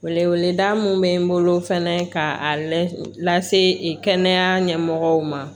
Wele weleda min bɛ n bolo fɛnɛ ka a lase kɛnɛya ɲɛmɔgɔw ma